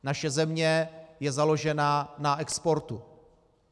Naše země je založena na exportu.